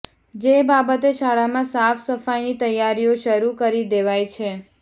જે બાબતે શાળામાં સાફ સફાઇની તૈયારીઓ શરૃ કરી દેવાઇ છે